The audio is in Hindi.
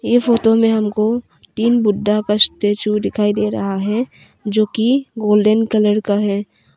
ये फोटो में हमको तीन बुद्धा का स्टेचू दिखाई दे रहा है जो की गोल्डन कलर का है।